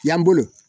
Yan bolo